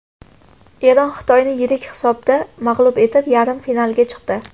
Eron Xitoyni yirik hisobda mag‘lub etib, yarim finalga chiqdi .